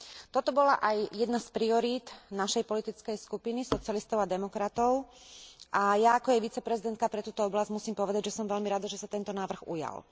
Toto bola aj jedna z priorít našej politickej skupiny Socialistov a demokratov a ja, ako jej viceprezidentka pre túto oblasť, musím povedať, že som veľmi rada, že sa tento návrh ujal.